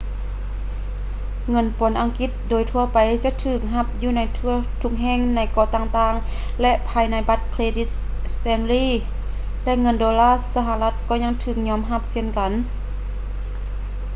ເງິນປອນອັງກິດໂດຍທົ່ວໄປຈະຖືກຮັບຢູ່ທົ່ວທຸກແຫ່ງໃນເກາະຕ່າງໆ ແລະ ພາຍໃນບັດເຄຼດິດ stanley ແລະ ເງິນໂດລາສະຫະລັດກໍຍັງຖືກຍອມຮັບເຊັ່ນກັນ